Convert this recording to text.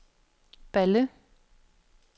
Balle